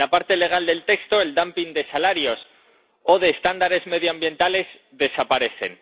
En la parte legal del texto, el dumping de salarios o de estándares medioambientales desaparece.